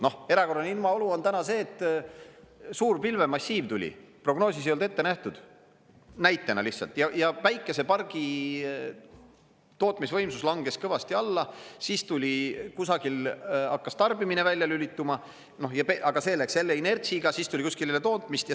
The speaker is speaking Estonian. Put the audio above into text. No erakorraline ilmaolu on täna see, et suur pilvemassiiv tuli, prognoosis ei olnud ette nähtud, näitena lihtsalt, ja päikesepargi tootmisvõimsus langes kõvasti alla, siis tuli kusagil hakkas tarbimine välja lülituma, aga see läks jälle inertsiga, siis tuli kuskil jälle tootmist.